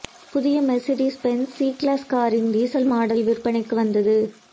புதிய Mercedes Benz C class காரின் diesel model விற்பனைக்கு வந்தது